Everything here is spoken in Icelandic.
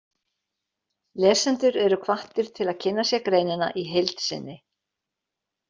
Lesendur eru hvattir til að kynna sér greinina í heild sinni.